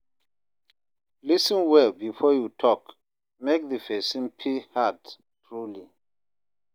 Lis ten well before you talk, make the person feel heard truly